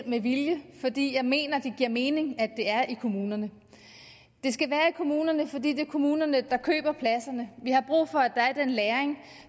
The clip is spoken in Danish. med vilje fordi jeg mener det giver mening at det er i kommunerne det skal være i kommunerne fordi det er kommunerne der køber pladserne vi har brug for at der er en læring